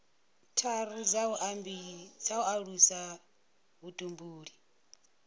tharu dza u alusa vhutumbuli